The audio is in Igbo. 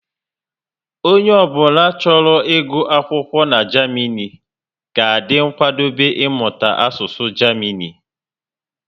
Onye ọ bụla chọrọ ị gu akwụkwọ na Germany, ga adị nkwadobe imụta asụsụ German